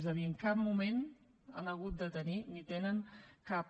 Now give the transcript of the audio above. és a dir en cap moment han hagut de tenir ni tenen cap